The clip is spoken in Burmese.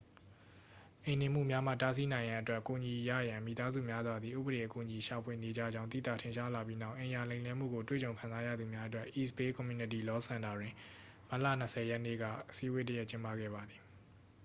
အိမ်နှင်မှုများမှ တားဆီးနိုင်ရန်အတွက် အကူအညီရရန် မိသားစုများစွာသည် ဥပဒေအကူအညီရှာဖွေနေကြကြောင်း သိသာထင်ရှားလာပြီးနောက် အိမ်ယာလိမ်လည်မှုကိုတွေ့ကြုံခံစားရသူများအတွက် east bay community law စင်တာတွင် မတ်လ 20 ရက်နေ့က အစည်းအဝေးတစ်ရပ်ကျင်းပခဲ့ပါသည်